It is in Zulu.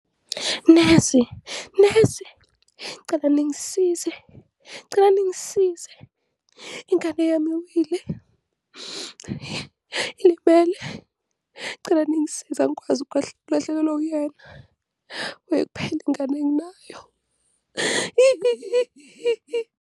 Nesi, nesi, ngicela ningisize, ngicela ningisize, ingane yami iwile ilimele, ngicela ningisize angikwazi ukulahlekelwa uyena, wuye kuphela ingane enginayo.